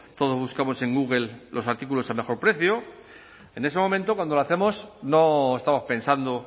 todos buscamos en google los artículos del mejor precio en ese momento cuando lo hacemos no estamos pensando